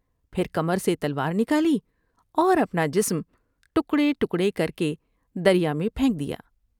پھر کمر سے تلوار نکالی اور اپنا جسم ٹکڑے ٹکڑے کر کے دریا میں پھینک دیا ۔